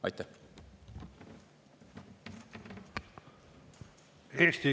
Aitäh!